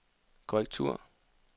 korrektur